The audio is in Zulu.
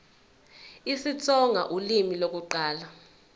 isitsonga ulimi lokuqala